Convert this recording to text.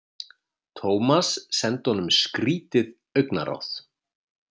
Thomas sendi honum skrýtið augnaráð.